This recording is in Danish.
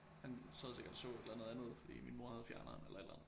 Han sad sikkert og så et eller andet andet fordi min mor havde fjerneren eller et eller andet